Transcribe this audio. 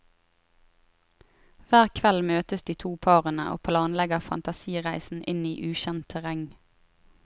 Hver kveld møtes de to parene og planlegger fantasireisen inn i ukjent terreng.